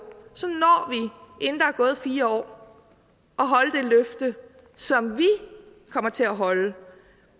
inden der er gået fire år at holde det løfte som vi kommer til at holde